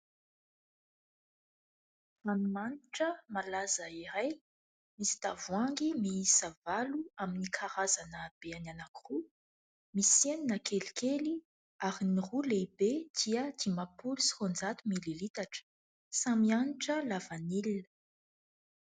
Ranomanitra malaza iray, misy tavoahangy miisa valo amin'ny karazana habe anankiroa, misy enina kelikely ary ny roa lehibe dia dimampolo sy raonjato mililitatra ; samy hanitra lavanilona.